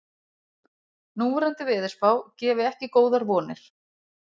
Núverandi veðurspá gefi ekki góðar vonir